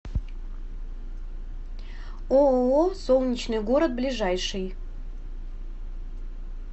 ооо солнечный город ближайший